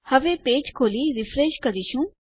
હવે પેજ ને ખોલીશું અને રીફ્રેશ કરીશું